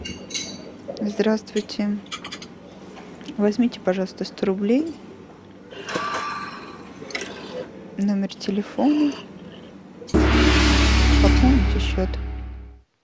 здравствуйте возьмите пожалуйста сто рублей номер телефона пополните счет